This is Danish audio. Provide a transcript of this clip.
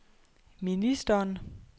ministeren